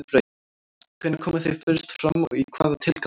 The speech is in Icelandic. Hvenær komu þau fyrst fram og í hvaða tilgangi?